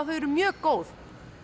þau eru mjög góð